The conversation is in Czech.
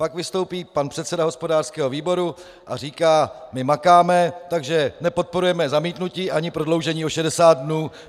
Pak vystoupí pan předseda hospodářského výboru a říká: My makáme, takže nepodporujeme zamítnutí ani prodloužení o 60 dnů.